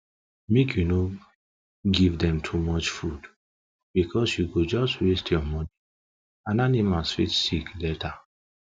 make you no give them too much food because u go just waste ur money and animals fit sick sick later